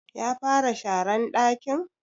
Ya fara sharan ɗakin?